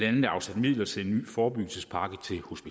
andet afsat midler til en ny forebyggelsespakke